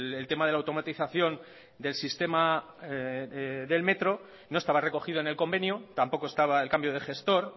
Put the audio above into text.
el tema de la automatización del sistema del metro no estaba recogido en el convenio tampoco estaba el cambio de gestor